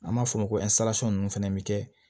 An b'a fɔ o ma ko ninnu fɛnɛ bɛ kɛ